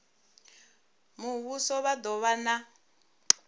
muvhuso vha do vha na